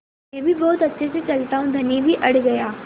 मैं भी बहुत अच्छे से चलता हूँ धनी भी अड़ गया